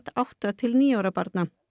átta til níu ára barna